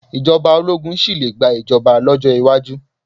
Ìjọba ológun sì le gba ìjọba lọ́jọ́ iwájú.